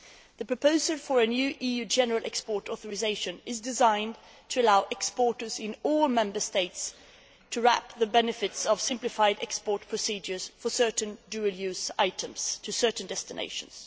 The proposal for a new EU general export authorisation is designed to allow exporters in all Member States to reap the benefits of simplified export procedures for certain dual use items to certain destinations.